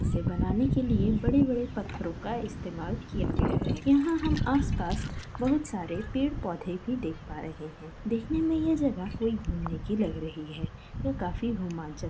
इसे बनाने के लिए बड़े बड़े पत्थरोंका इस्तेमाल किया गया है यहाँ हम आसपास बहुत सारे पेड़ पोधे भी देख पा रहे है। देखने मैं ये जगह कोई घूमने की लग रही है यह काफी रोमांचक लग रहा है।